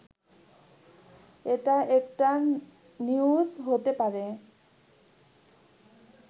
এটা একটা নিউজ হতে পারে